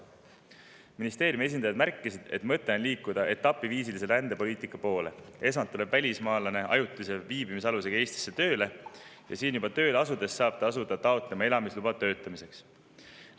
Ministeeriumi esindajad märkisid, et mõte on liikuda etapiviisilise rändepoliitika poole: esmalt tuleb välismaalane ajutise viibimisalusega Eestisse tööle ja siin tööle asudes saab ta juba asuda taotlema elamisluba töötamiseks.